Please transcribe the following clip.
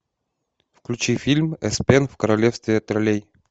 включи фильм эспен в королевстве троллей